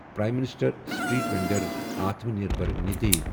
prime minister street vendor Atmanirbhar Nidhi